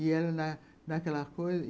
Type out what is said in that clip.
E ela na naquela coisa.